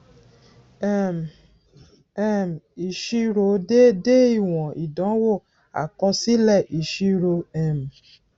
um um ìṣirò déédé ìwòn ìdánwò àkọsílẹ ìṣirò um